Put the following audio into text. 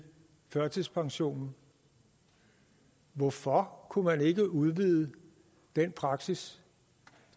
førtidspensionen hvorfor kunne man ikke udvide den praksis